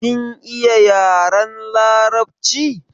Kin iya yaren larabci?